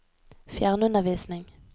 fjernundervisning